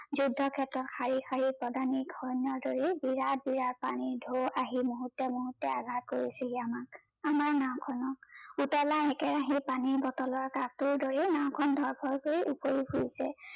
যুদ্ধ ক্ষেত্ৰত শাৰি শাৰি দৰেই বিৰাট বিৰাট পানীৰ ঢৌ আহি মূহুৰ্তে মূহুৰ্তে আগাহ কৰিছেহি আমাক ।আমাৰ নাও খনৰ পুতলাৰ একেৰাহেই পানী বটলৰ কাকটোৰ দৰেই নাওখন ধৰ ফৰ কৰি উফৰি পৰিছে